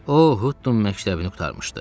O Hudton məktəbini qurtarmışdı.